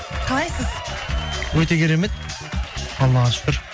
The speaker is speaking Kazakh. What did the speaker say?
қалайсыз өте керемет аллаға шүкір